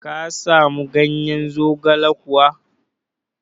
Ka samu ganyen zogale kuwa?